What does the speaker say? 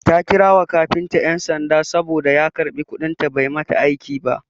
Ta kira wa kafinta ƴan sanda saboda ya karɓi kuɗin ta bai mata aiki ba.